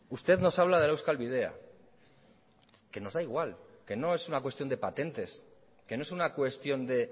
usted nos habla de la euskal bidea que nos da igual que no es una cuestión de patentes que no es una cuestión de